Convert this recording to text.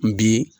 N bi